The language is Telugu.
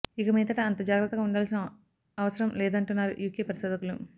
ఇక మీదట అంత జాగ్రత్తగా ఉండాల్సిన అవసరం లేదంటున్నారు యూకే పరిశోధకులు